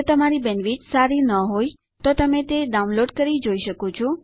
જો તમારી પાસે સારી બેન્ડવિડ્થ ન હોય તો તમે તે ડાઉનલોડ કરી જોઈ શકો છો